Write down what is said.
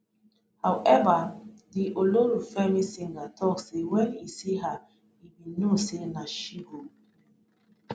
howeva di ololufemi singer tok say wen e see her e bin know say na she go be